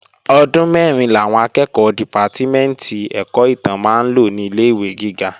Ọdún mẹ́rin làwọn akẹ́ẹ̀kọ́ dìpátímẹ̀ntì ẹ̀kọ́ ìtàn máa ń lò ní ilé-ìwé gíga